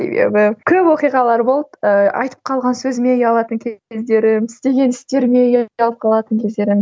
көп оқиғалар болды ыыы айтып қалған сөзіме ұялатын кездерім істеген істеріме ұялып қалатын кездерім